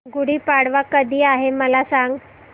गुढी पाडवा कधी आहे मला सांग